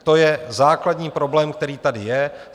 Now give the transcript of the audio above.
To je základní problém, který tady je.